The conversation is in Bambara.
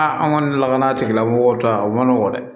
Aa an kɔni lakana tigilamɔgɔw ta o ma nɔgɔn dɛ